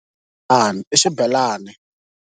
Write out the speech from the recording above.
I xibelani.